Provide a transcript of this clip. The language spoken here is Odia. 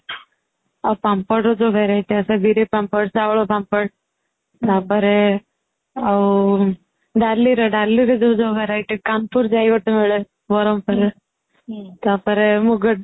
ଆଉ ପାମ୍ପଡ ର ଯୋଉ variety ଆସେ ବିରି ପାମ୍ପଡ ଚାଉଳ ପାମ୍ପଡ ତା ପରେ ଆଉ ଡାଲି ର ଡାଲି ର ଯୋଉ ଯୋଉ variety କାନପୁର୍ ଯାଇ ଗୋଟେ ମିଳେ ବ୍ରହ୍ମପୁର ରେ ତା ପରେ ମୁଗ